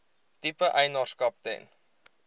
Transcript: tipe eienaarskap ten